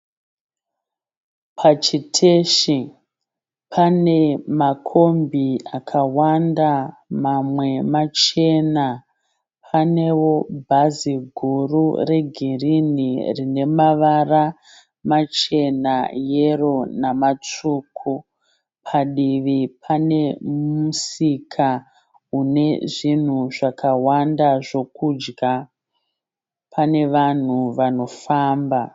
Pachiteshi pane makombi akawanda, mamwe machena. Panewo bhazi guru regini rine mavara machena, yero namatsvuku. Padivi pane musika unezvinhu zvakawanda zvekudya. Pane vanhu vanofamba.